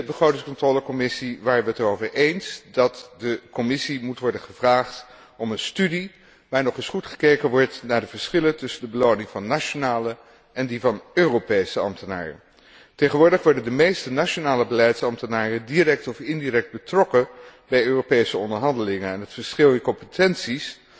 In de Commissie begrotingscontrole waren wij het erover eens dat de Commissie moet worden gevraagd om een studie waar nog eens goed gekeken wordt naar de verschillen tussen de beloning van nationale en die van Europese ambtenaren. Tegenwoordig worden de meeste nationale beleidsambtenaren direct of indirect betrokken bij Europese onderhandelingen en het verschil in competenties